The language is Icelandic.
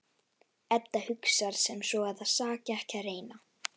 Edda hugsar sem svo að það saki ekki að reyna.